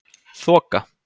Þoka